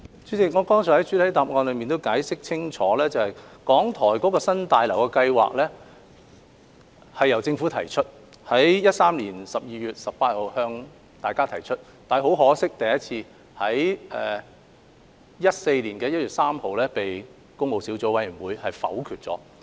主席，我剛才在主體答覆已解釋清楚，港台新大樓的計劃由政府在2013年12月18日向立法會提出，但很可惜，該建議在2014年1月3日被工務小組委員會否決。